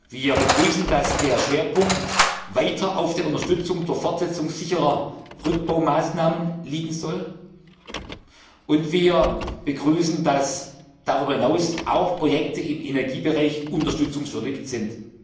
Wir begrüßen, dass der Schwerpunkt weiter auf der Unterstützung zur Fortsetzung sicherer Rückbaumaßnahmen liegen soll, und wir begrüßen, dass darüber hinaus auch Projekte im Energiebereich unterstützungswürdig sind.